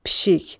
Pişik.